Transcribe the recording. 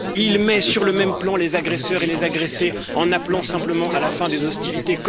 Il met sur le même plan les agresseurs et les agressés en appelant simplement à la fin des hostilités.